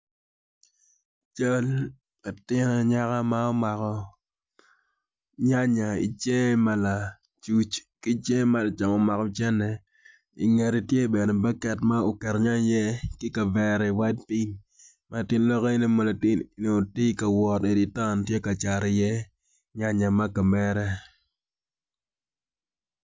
Cal latin anyaka ma omako nyanaya icinge ma ki cinge ma lacam omako cente i ngete bene tye baket ma oketo nyanya iye ki kavera pill